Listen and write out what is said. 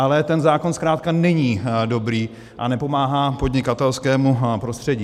Ale ten zákon zkrátka není dobrý a nepomáhá podnikatelskému prostředí.